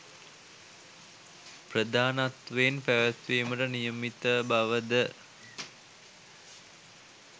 ප්‍රධානත්වයෙන් පැවැත්වීමට නියමිත බව ද